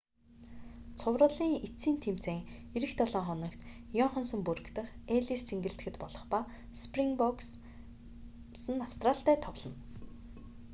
цувралын эцсийн тэмцээн ирэх долоо хоногт иоханнесбург дахь эллис цэнгэлдэхэд болох ба спринбокс нь австралитай тоглоно